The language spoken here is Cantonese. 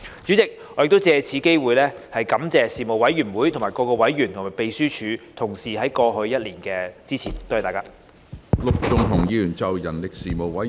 主席，我亦藉此機會感謝事務委員會各委員和秘書處同事在過去一年的支持，多謝大家。